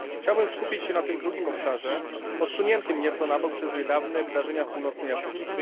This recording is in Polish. Chciałbym skupić się na tym drugim obszarze, odsuniętym nieco na bok przez niedawne wydarzenia w Północnej Afryce.